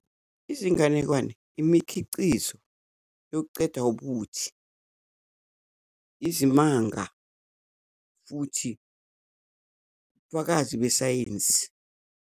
Izinganekwane, imikhiqizo yokuceda ubuthi, izimanga futhi fakazi besayensi.